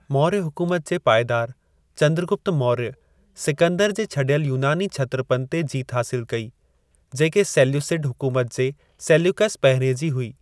मौर्य हुकुमत जे पाएदारु, चंद्रगुप्त मौर्य, सिकंदर जे छॾियल यूनानी क्षत्रपनि ते जीत हासिल कई, जेके सेल्यूसिड हुकुमत जे सेल्यूकस पहिरिएं जी हुई।